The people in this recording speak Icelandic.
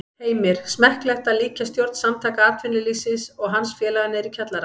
Heimir: Smekklegt að líkja stjórn Samtaka atvinnulífsins og hans félaga niðri í kjallara?